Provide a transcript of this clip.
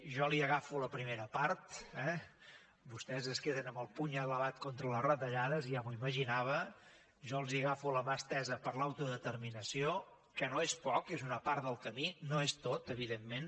jo li agafo la primera part eh vostès es queden amb el puny elevat contra les retallades ja m’ho imaginava jo els agafo la mà estesa per a l’autodeterminació que no és poc és una part del camí no és tot evidentment